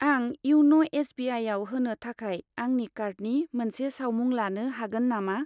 आं इउन' एस.बि.आइ.आव होनो थाखाय आंनि कार्डनि मोनसे सावमुं लानो हागोन नामा?